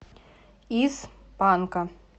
из панка